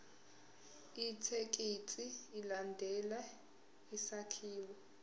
ithekisthi ilandele isakhiwo